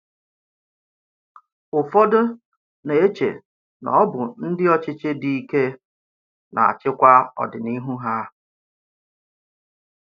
Ụ́fọdụ na-eche na ọ bụ ndị ọchịchị dì íké na-achịkwa ọdịnihu ha.